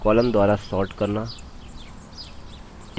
columns द्वारा sorting करना